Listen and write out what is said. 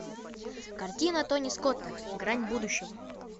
картина тони скотта грань будущего